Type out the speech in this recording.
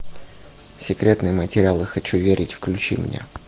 секретные материалы хочу верить включи мне